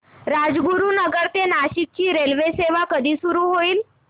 राजगुरूनगर ते नाशिक ची रेल्वेसेवा कधी सुरू होईल